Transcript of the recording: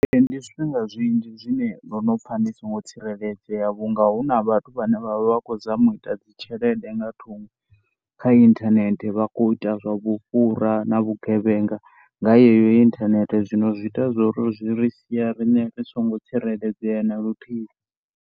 Ndi zwifhinga zwinzhi zwine ndo no pfha ndi songo tsireledzea vhu nga hu na vhathu vhane vha vha kho zama u ita dzi tshelede nga thungo kha inthanethe vha kho ita zwa vhufhura na vhugevhenga nga yeyo inthanethe. Zwino zwi ita zwo ri, zwi ri sia riṋe ri songo tsireledzea na luthihi.